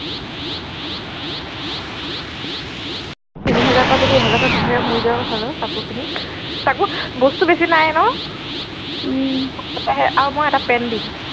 তিনি হেজাৰ পৰা যদি এক হেজাৰ থাকে মৰি যোৱাই ভাল অ কাপোৰ কিনি তাকো বস্তু বেছি নাই ন উম আৰু মই এটা পেন দিম